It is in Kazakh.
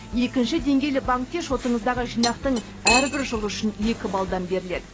екінші деңгейлі банкте шотыңыздағы жинақтың әрбір жылы үшін екі баллдан беріледі